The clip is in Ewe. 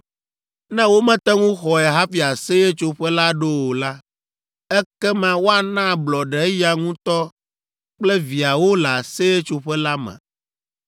“ ‘Ne womete ŋu xɔe hafi Aseyetsoƒe la ɖo o la, ekema woana ablɔɖe eya ŋutɔ kple viawo le Aseyetsoƒe la me.